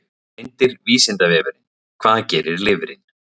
Myndir Vísindavefurinn: Hvað gerir lifrin?